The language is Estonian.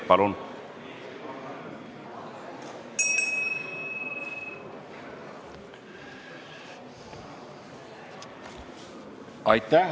Palun!